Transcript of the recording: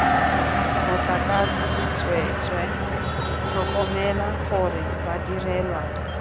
motlakase tsweetswe tlhokomela gore badirelwa